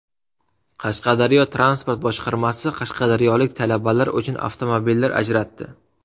Qashqadaryo transport boshqarmasi qashqadaryolik talabalar uchun avtomobillar ajratdi.